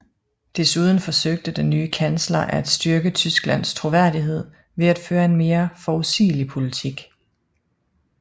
Desuden forsøgte den nye kansler at styrke Tysklands troværdighed ved at føre en mere forudsigelig politik